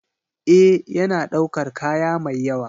Ee, yana ɗaukar kaya mai yawa.